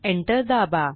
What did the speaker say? Enter दाबा